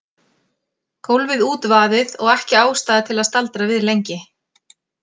Gólfið útvaðið og ekki ástæða til að staldra við lengi.